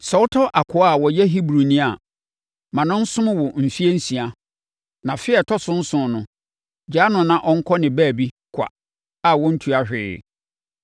“Sɛ wotɔ akoa a ɔyɛ Hebrini a, ma no nsom wo mfeɛ nsia, na afe a ɛtɔ so nson no, gyaa no na ɔnkɔ ne baabi kwa a ɔntua hwee.